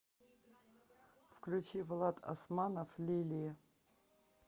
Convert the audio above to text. включи влад османов лили